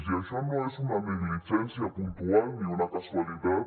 i això no és una negligència puntual ni una casualitat